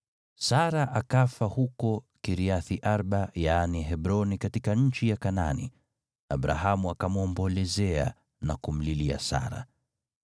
Sara akafa huko Kiriath-Arba (yaani Hebroni) katika nchi ya Kanaani, Abrahamu akamwombolezea na kumlilia Sara.